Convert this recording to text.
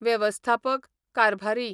वेवस्थापक, कारभारी